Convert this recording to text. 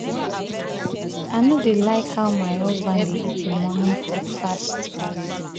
i no no dey like how my husband dey eat im um morning um food fast